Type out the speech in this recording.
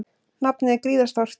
Nafnið er gríðarstórt.